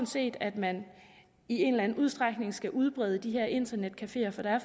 set at man i en eller anden udstrækning skal udbrede de her internetcafeer for der er